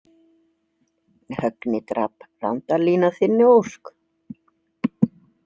Högni drap Randalín að þinni ósk.